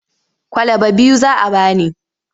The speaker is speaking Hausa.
Kwalaba biyu za a ba ni.